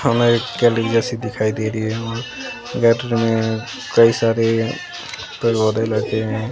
हमें एक गैलरी जैसी दिखाई दे रही है और गैलरी में कई सारे पेड़ पौधे लगे हैं।